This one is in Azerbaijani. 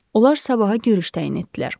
Onlar sabaha görüş təyin etdilər.